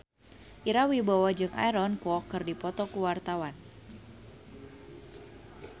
Ira Wibowo jeung Aaron Kwok keur dipoto ku wartawan